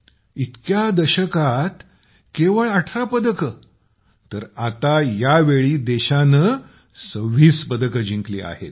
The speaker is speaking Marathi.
इतक्या दशकांत केवळ १८ पदकं तर आता यावेळी देशानं २६ पदकं जिंकली आहेत